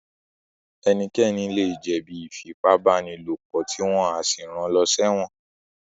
Ẹnikẹ́ni lè jẹ̀ bí Ífipá-báni-lòpọ̀ tí wọ́n á sì ran lọ sẹ́wọ̀n